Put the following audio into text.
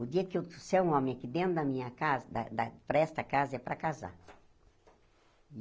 O dia que eu trouxer um homem aqui dentro da minha casa, da da para esta casa, é para casar.